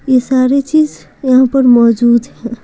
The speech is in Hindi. ये सारी चीज यहां पर मौजूद है।